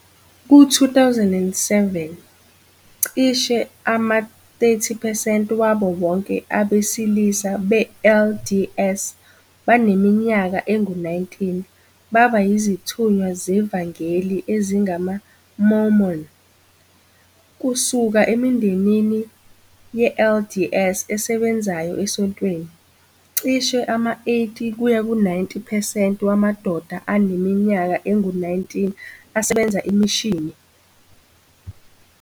Ku-2007, cishe ama-30 percent wabo bonke abesilisa be-LDS abaneminyaka engu-19 baba yizithunywa zevangeli ezingamaMormon, kusuka emindenini ye-LDS esebenzayo esontweni, cishe ama-80-90 percent wamadoda aneminyaka engu-19 asebenza imishini.